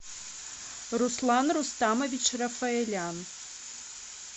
руслан рустамович рафаэлян